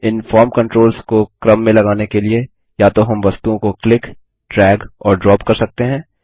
इन form controls को क्रम में लगाने के लिए या तो हम वस्तुओं को क्लिक ड्रैग और ड्रॉप कर सकते हैं